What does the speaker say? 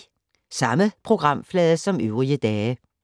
Samme programflade som øvrige dage